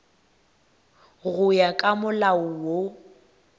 go ya ka molao wo